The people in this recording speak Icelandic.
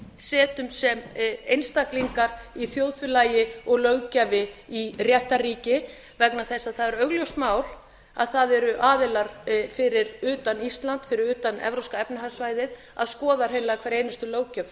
setjum sem einstaklingar í þjóðfélagi og löggjafi í réttarríki vegna þess að það er augljóst mál að það eru aðilar fyrir utan íslands fyrir utan evrópska efnahagssvæðið að skoða hreinlega hverja einustu löggjöf